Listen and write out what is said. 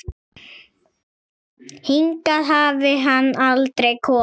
Hingað hafi hann aldrei komið.